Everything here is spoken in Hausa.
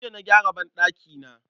Jiya na gyara banɗakina.